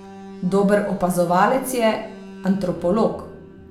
Dober opazovalec je, antropolog.